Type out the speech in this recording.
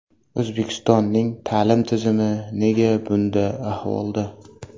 O‘zbekistonning ta’lim tizimi nega bunda ahvolda?